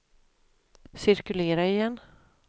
cirkulera igen